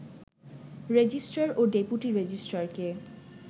registrar ও deputy রেজিস্ট্রারকে